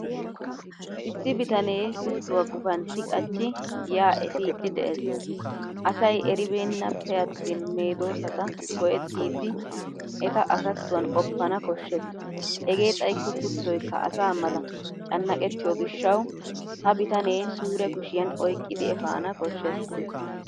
Issi bitanee kuttuwa gufantti qachchi giyaa efiiddi de'es. Asay eribbennappe attin medoossata go'ettidi eta asattuwan qoppana koshshes hegee xayikko kuttoykka asa mala cannaqettiyo gishshawu ha bitanee suure kushiyan oyqqidi efana koshshes.